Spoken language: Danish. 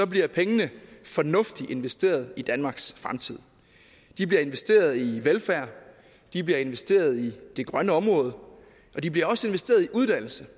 bliver pengene fornuftigt investeret i danmarks fremtid de bliver investeret i velfærd de bliver investeret i det grønne område og de bliver også investeret i uddannelse